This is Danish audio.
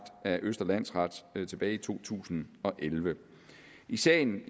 af østre landsret tilbage i to tusind og elleve i sagen